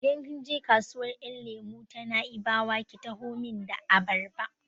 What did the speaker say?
Idan kin je kasuwar ƴan lemo ta Na'ibawa ki taho min da abarba!